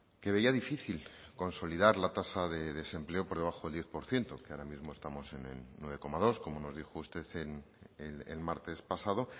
que veía difícil consolidar la tasa de desempleo por debajo del diez por ciento que ahora mismo estamos en el nueve coma dos como nos dijo usted el martes pasado